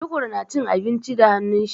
Tukur na cin abinci da hannun shi.